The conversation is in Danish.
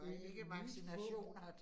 In need for